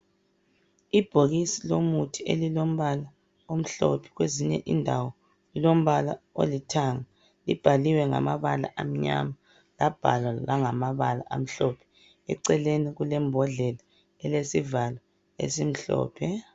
Ibhokisi yomuthi elilombala omhlophe kwezinye indawo ilombala olithanga ibhaliwe ngamabala anyama labhalwa langamabala amhlophe eceleni kulembhodlela elesivalo esimhlophe